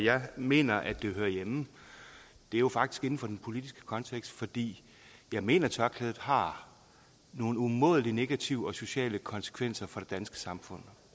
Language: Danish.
jeg mener at det hører hjemme er jo faktisk inden for den politiske kontekst fordi jeg mener tørklædet har nogle umådelig negative sociale konsekvenser for det danske samfund